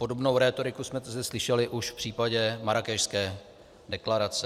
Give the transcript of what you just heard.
Podobnou rétoriku jsme tu slyšeli už v případě Marrákešské deklarace.